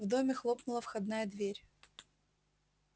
в доме хлопнула входная дверь